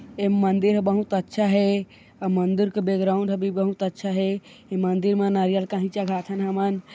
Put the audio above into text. ए मंदिर ह बहुत अच्छा हे अ मंदिर के बैक ग्राउन्ड भी बहुत अच्छा हे ये मंदिर म नारियल काही चढ़ाथन हमन--